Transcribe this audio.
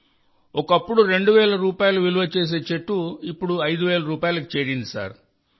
ఒకప్పుడు 2000 రూపాయలు విలువ చేసే చెట్టు విలువ ఇప్పుడు 5000 రూపాయలకి చేరింది సార్